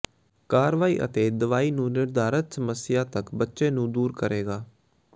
ਕਾਰਵਾਈ ਅਤੇ ਦਵਾਈ ਨੂੰ ਨਿਰਧਾਰਤ ਸਮੱਸਿਆ ਤੱਕ ਬੱਚੇ ਨੂੰ ਦੂਰ ਕਰੇਗਾ